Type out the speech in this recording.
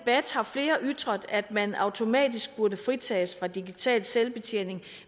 har flere ytret at man automatisk burde fritages fra digital selvbetjening